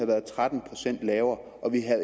været tretten procent lavere og vi havde